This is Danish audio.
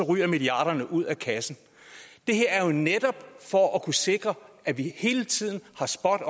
ryger milliarderne ud af kassen det her er jo netop for at kunne sikre at vi hele tiden er spot